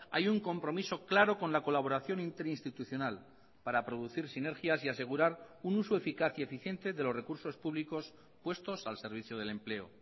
hay un compromiso claro con la colaboración interinstitucional para producir sinergias y asegurar un uso eficaz y eficiente de los recursos públicos puestos al servicio del empleo